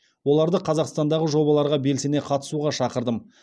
оларды қазақстандағы жобаларға белсене қатысуға шақырдым